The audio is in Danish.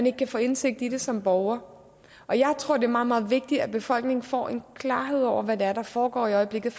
ikke kan få indsigt i det som borgere jeg tror det er meget meget vigtigt at befolkningen får en klarhed over hvad det er der foregår i øjeblikket